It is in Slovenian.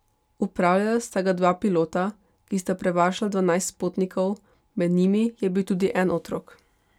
Upravljala sta ga dva pilota, ki sta prevažala dvanajst potnikov, med njimi je bil tudi en otrok.